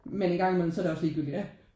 Men en gang imellem så er det også ligegyldigt